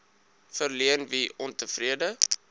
verleen wie ontevrede